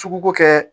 Suguko kɛ